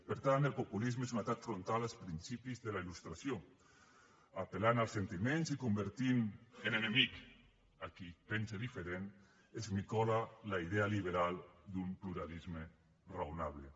per tant el populisme és un atac frontal als principis de la il·lustració apel·lant als sentiments i convertint en enemic a qui pensa diferent esmicola la idea liberal d’un pluralisme raonable